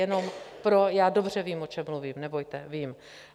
Jenom - já dobře vím, o čem mluvím, nebojte, vím.